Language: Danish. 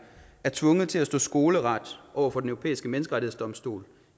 er tvunget til at stå skoleret over for den europæiske menneskerettighedsdomstol